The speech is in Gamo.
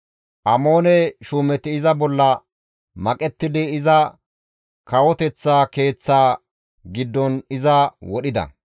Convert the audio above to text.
Amoone shuumeti iza bolla maqettidi iza kawoteththa keeththaa giddon iza wodhida.